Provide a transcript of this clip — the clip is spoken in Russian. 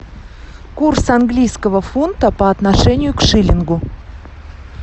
курс английского фунта по отношению к шиллингу